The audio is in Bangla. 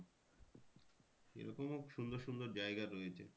এরকমও সুন্দর সুন্দর জায়গা রয়েছে।